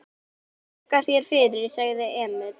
Þakka þér fyrir, sagði Emil.